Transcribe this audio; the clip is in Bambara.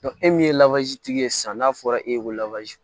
e min ye tigi ye san n'a fɔra e ko